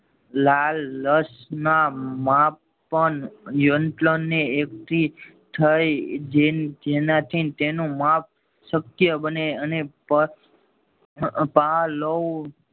લાળ રસમાં માપ પણ નિયંત્રણ ને એક થી થઈ જેનાથી તેનું માપ શક્ય બને અને પાલવ